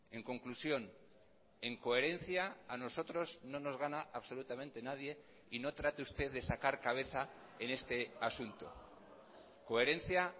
en conclusión en coherencia a nosotros no nos gana absolutamente nadie y no trate usted de sacar cabeza en este asunto coherencia